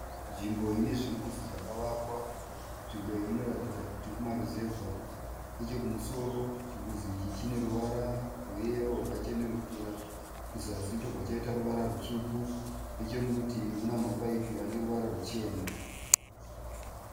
Nzvimbo inezvimbuzi zvakavakwa. Nzvimbo iyi inoratidza kuti kumaruzevha. Nechekumusoro chimbuzi ichi chineruvara rweyero rwakachenerukira. Kuzasi chobva chaita ruvara rutsvuku. Nechemurutivi kunemapaipi aneruvara ruchena.